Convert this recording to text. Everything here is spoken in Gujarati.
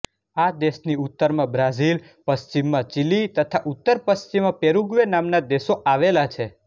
આ દેશની ઉત્તરમાં બ્રાઝીલ પશ્ચિમમાં ચીલી તથા ઉત્તરપશ્ચિમમાં પેરુગ્વે નામના દેશો આવેલા છે